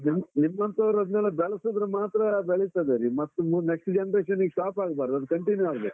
ನಿಮ್ಮಂತವರದನೆಲ್ಲಾ ಬೆಳಿಸಿದ್ರೆ ಮಾತ್ರ ಬೆಳಿತದೆ ರಿ, ಮತ್ತ್ ಮು next generation ಗೆ stop ಆಗ್ಬಾರ್ದು, ಅದು continue ಆಗ್ಬೇಕು.